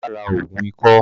Bàbá ra ògùn ikọ́